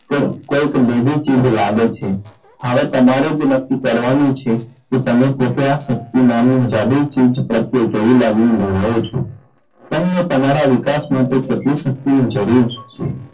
કોઈક ભેદી ચીઝ લાગે છે હવે તમારે જ નક્કી કરવાનું છે કે તમે પોતે આ શક્તિ નામની જાદુઈ ચીઝ પ્રત્યે કેવી લાગણી ધરાવો છો તમને તમારાં વિકાસ માટે કેટલી શક્તિ ની જરૂર છે.